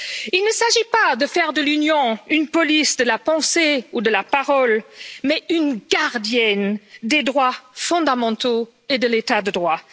Il ne s'agit pas de faire de l'Union une police de la pensée ou de la parole, mais une gardienne des droits fondamentaux et de l'état de droit.